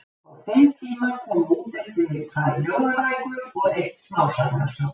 Á þeim tíma komu út eftir mig tvær ljóðabækur og eitt smásagnasafn.